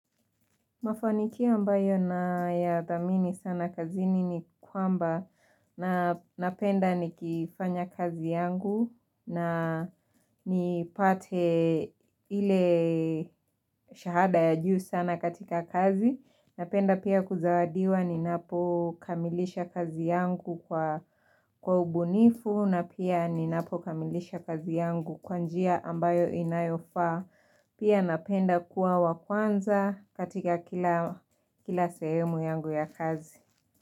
Mafanikio ambayo nayadhamini sana kazini, nikwamba, napenda nikifanya kazi yangu, na nipate ile shahada ya juu sana katika kazi. Napenda pia kuzawadiwa ninapo kamilisha kazi yangu, kwa ubunifu na pia ninapo kamilisha kazi yangu, kwa njia ambayo inayofaa. Pia napenda kuwa wakwanza, katika kila sehemu yangu ya kazi.